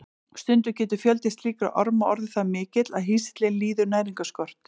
Stundum getur fjöldi slíkra orma orðið það mikill að hýsillinn líður næringarskort.